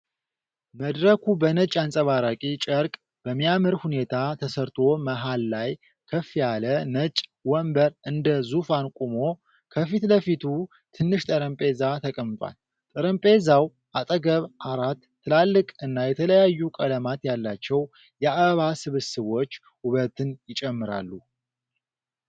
መድረኩ በነጭ አንጸባራቂ ጨርቅ በሚያምር ሁኔታ ተሰርቶ መሃል ላይ ከፍ ያለ ነጭ ወንበር እንደ ዙፋን ቆሞ፣ ከፊት ለፊቱ ትንሽ ጠረጴዛ ተቀምጧል። ጠረጴዛው አጠገብ አራት ትላልቅ እና የተለያዩ ቀለማት ያላቸው የአበባ ስብስቦች ውበትን ይጨምራሉ።